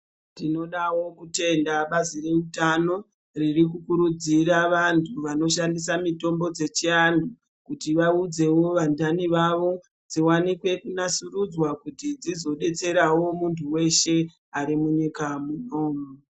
Tinodawo kutenda bazi reutano riri kukurudzira vantu vanoshandisa mitombo dzechianhu kuti vaudzewo vandani vavo dziwanikwe kunasurudzwa kuti dzizobetserawo muntu weshe ari munyika muno.